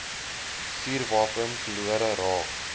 vuurwapen verlore raak